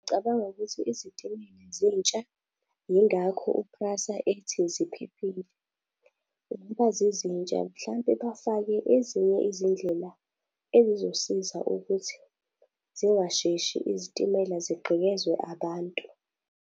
Ngicabanga ukuthi izitimela zintsha, yingakho u-Prasa ethi ziphephile. Ngoba zizintsha mhlampe bafake ezinye izindlela ezizosiza ukuthi singasheshi izitimela zigqekezwe abantu.